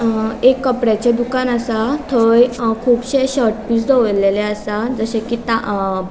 अ एक कपड्याचे दुकान असा थंय कुबशे शर्ट पीस दोवोरलेले असा जशे कि ता अ --